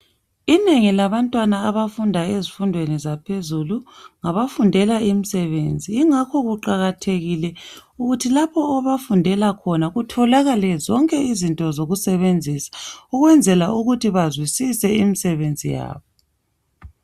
Inengi labantwana abafunda ezifundweni zaphezulu ngabafundela imisebenzi ingakho kuqakathekile ukuthi lapho abafundela khona kutholakale zonke izinto zokusebenzisa ukuzwela ukuthi bazwisise imisebenzi yabo.